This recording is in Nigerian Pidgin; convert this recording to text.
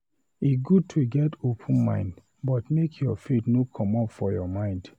E good to get open-mind but make your faith no comot for your mind.